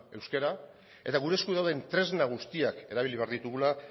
euskara eta gure esku dauden tresna guztiak erabili behar ditugula